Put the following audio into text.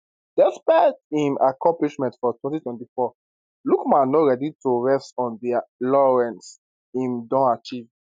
despite im accomplishments for 2024 lookman no ready to rest on di laurels im don achieve